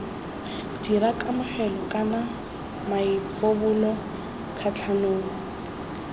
dira kamogelo kana maipobolo kgatlhanong